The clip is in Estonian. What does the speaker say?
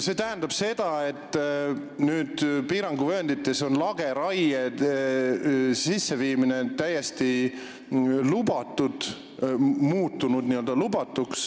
See tähendab seda, et piiranguvööndites on lageraie täiesti lubatuks muutunud.